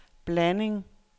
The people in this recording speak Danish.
blanding